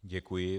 Děkuji.